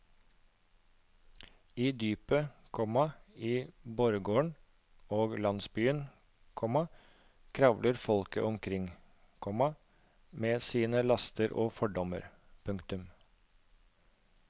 I dypet, komma i borggården og landsbyen, komma kravler folket omkring, komma med sine laster og fordommer. punktum